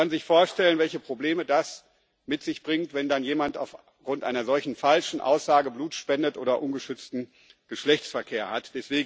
Man kann sich vorstellen, welche Probleme das mit sich bringt, wenn dann jemand aufgrund einer solchen falschen Aussage Blut spendet oder ungeschützten Geschlechtsverkehr hat.